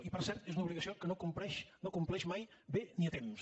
i per cert és una obligació que no compleix mai bé ni a temps